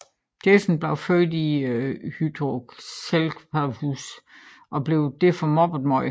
Jason blev født med hydrocephalus og blev derfor mobbet meget